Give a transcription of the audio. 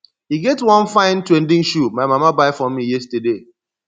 e get one fine trending shoe my mama buy for me yesterday